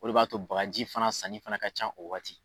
O de b'a to bagaji fana sannin fana ka can o waati